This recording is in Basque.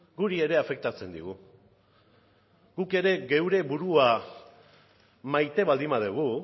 guri ere afektatzen digu guk ere geure burua maite baldin badugu